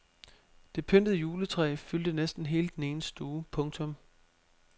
Det pyntede juletræ fyldte næsten hele den ene stue. punktum